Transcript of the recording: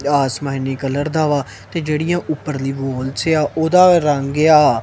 ਆਸਮਾਨੀ colour ਦਾ ਵਾਹ ਤੇ ਜਿਹੜੀਆਂ ਊਪਰ ਦੀ ਵੋਲਸ ਆ ਓਹਦਾ ਰੰਗ ਆ--